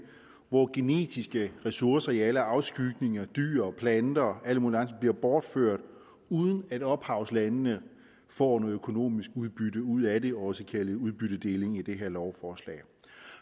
hvor genetiske ressourcer i alle afskygninger dyr planter og alle mulige andre ting bliver bortført uden at ophavslandene får et økonomisk udbytte ud af det også kaldet udbyttedeling i det her lovforslag